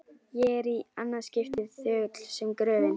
Ég er- í annað skiptið- þögull sem gröfin.